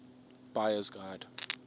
buyer s guide